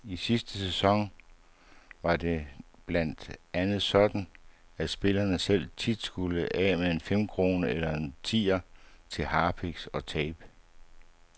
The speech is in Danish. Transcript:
I sidste sæson var det blandt andet sådan, at spillerne selv tit skulle af med en femkrone eller en tier til harpiks og tape.